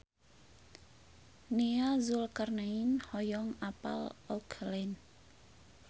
Nia Zulkarnaen hoyong apal Auckland